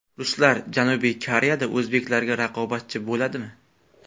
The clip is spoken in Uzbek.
Ruslar Janubiy Koreyada o‘zbeklarga raqobatchi bo‘ladimi?